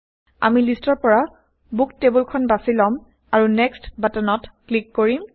আমি লিষ্টৰ পৰা বুক টেইবল খন বাচি লম আৰু নেক্সট বাটনত ক্লিক কৰিম